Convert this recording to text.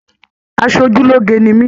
Asojuloge ni mi.